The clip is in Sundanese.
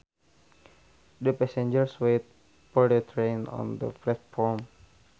The passengers waited for the train on the platform